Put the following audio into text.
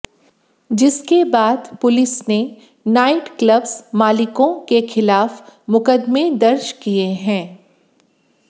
जिसके बाद पुलिस ने नाइट क्लब्स मालिकों को खिलाफ मुकदमे दर्ज किये हैं